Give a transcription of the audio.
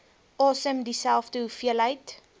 asem dieselfde hoeveelheid